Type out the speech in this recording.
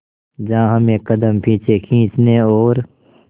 जहां हमें कदम पीछे खींचने और